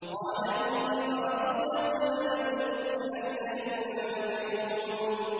قَالَ إِنَّ رَسُولَكُمُ الَّذِي أُرْسِلَ إِلَيْكُمْ لَمَجْنُونٌ